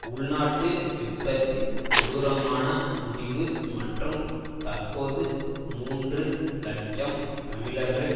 உள்நாட்டு யுத்தத்தின் கொடூரமான முடிவு மற்றும் தற்போது மூன்று இலட்சம் தமிழர்கள்